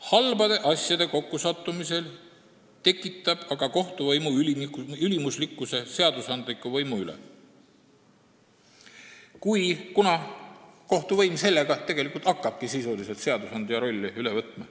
Halbade asjaolude kokkusattumisel tekitab see kohtuvõimu ülimuslikkuse seadusandliku võimu üle, kuna kohtuvõim hakkab sel moel sisuliselt seadusandja rolli üle võtma.